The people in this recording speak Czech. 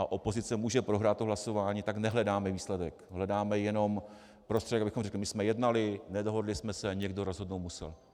A opozice může prohrát to hlasování, tak nehledáme výsledek, hledáme jenom prostředek, abychom řekli: My jsme jednali, nedohodli jsme se, někdo rozhodnout musel.